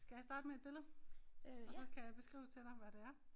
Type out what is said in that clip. Skal jeg starte med et billede og så kan jeg beskrive til dig hvad det er